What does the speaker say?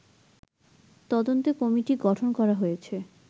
তদন্তে কমিটি গঠন করা হয়েছে